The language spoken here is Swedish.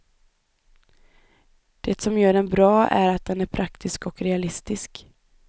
Det som gör den bra är att den är praktisk och realistisk.